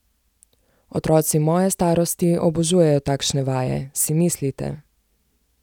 Otroci moje starosti obožujejo takšne vaje, si mislite?